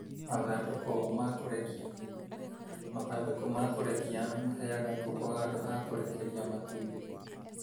Mathandũku ma kũrekeria: Mathandũku ma kũrekeria maheage ngũkũ handũ ha kũrekeria matumbĩ.